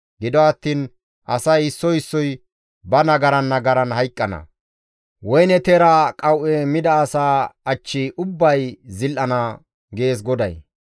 Gido attiin asay issoy issoy ba nagaran nagaran hayqqana; woyne teera qawu7e mida asa achchi ubbay zil7ana» gees GODAY.